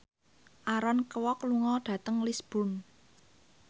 Aaron Kwok lunga dhateng Lisburn